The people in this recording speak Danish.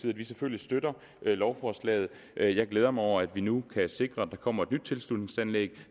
at vi selvfølgelig støtter lovforslaget jeg jeg glæder mig over at vi nu kan sikre at der kommer et nyt tilslutningsanlæg